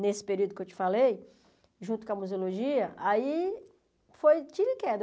nesse período que eu te falei, junto com a museologia, aí foi tiro e queda.